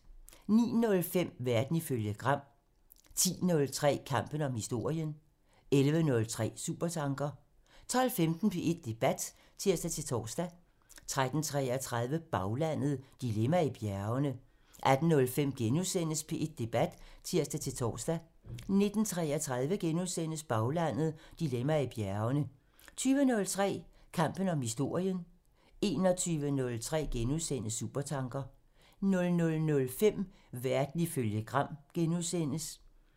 09:05: Verden ifølge Gram 10:03: Kampen om historien 11:03: Supertanker 12:15: P1 Debat (tir-tor) 13:33: Baglandet: Dilemma i bjergene 18:05: P1 Debat *(tir-tor) 19:33: Baglandet: Dilemma i bjergene * 20:03: Kampen om historien (tir) 21:03: Supertanker *(tir) 00:05: Verden ifølge Gram *(tir)